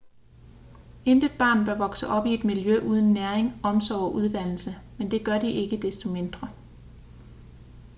intet barn bør vokse op i et miljø uden næring omsorg og uddannelse men det gør de ikke desto mindre